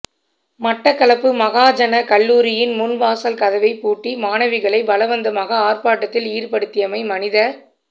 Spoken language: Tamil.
மட்டக்களப்பு மகாஜன கல்லூரியின் முன் வாசல் கதவை பூட்டி மாணவிகளை பலவந்தமாக ஆர்ப்பாட்டத்தில் ஈடுபடுத்தியமை மனித